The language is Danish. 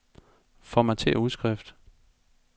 Formatér udskrift.